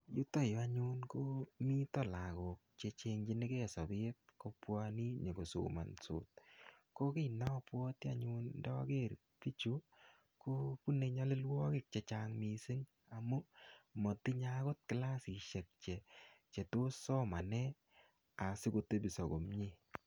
Yutoyu anyun, komite lagok che cheng'chinkei sabet kobwane nyikosmansot. Ko kiy ne abwati ayun ndager bichu, kobune nyalilwogik chechang missing. Amu, matinye agot klasishek che chetos somane asikotebiso komyee.